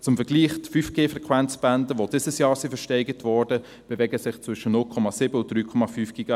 Zum Vergleich: Die 5G-Frequenzbänder, die dieses Jahr versteigert wurden, bewegen sich zwischen 0,7 und 3,5 GHz.